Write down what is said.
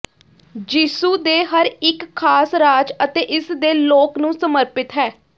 ਯਿਸੂ ਦੇ ਹਰ ਇੱਕ ਖਾਸ ਰਾਜ ਅਤੇ ਇਸ ਦੇ ਲੋਕ ਨੂੰ ਸਮਰਪਿਤ ਹੈ